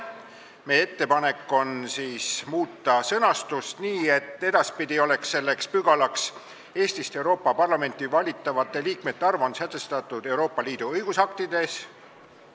Meie ettepanek on muuta sõnastust nii, et edaspidi oleks selleks pügalaks "Eestist Euroopa Parlamenti valitavate liikmete arv on sätestatud Euroopa Liidu õigusaktides".